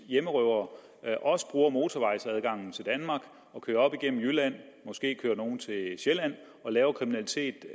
hjemmerøvere også bruger motorvejsadgangen til danmark og kører op igennem jylland måske kører nogle til sjælland og laver kriminalitet